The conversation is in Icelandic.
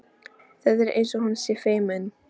Það er eins og hún sé feimin.